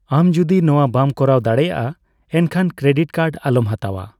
ᱟᱢ ᱡᱩᱫᱤ ᱱᱚᱣᱟ ᱵᱟᱢ ᱠᱚᱨᱟᱣ ᱫᱟᱲᱮᱭᱟᱜᱼᱟ, ᱮᱱᱠᱷᱟᱱ ᱠᱨᱮᱰᱤᱴ ᱠᱟᱨᱰ ᱟᱞᱚᱢ ᱦᱟᱛᱟᱣᱟ᱾